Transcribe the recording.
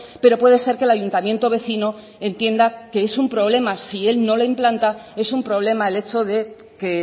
pero puede ser que el ayuntamiento vecino entienda que es un problema si él no la implanta es un problema el hecho de que